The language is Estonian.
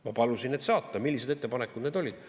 Ma palusin need saata, millised ettepanekud need olid.